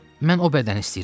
Mən o bədəni istəyirəm.